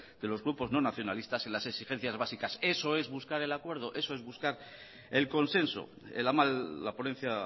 de los grupos no nacionalistas y las exigencias básicas eso es buscar el acuerdo eso es buscar el consenso la ponencia